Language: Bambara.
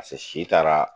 si taara